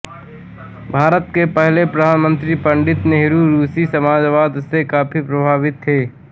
भारत के पहले प्रधानमंत्री पं नेहरू रूसी समाजवाद से काफी प्रभावित थे